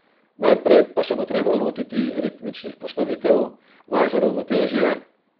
Najprej pa se bo treba lotiti ritmičnih postavitev, vaj za ravnotežje ...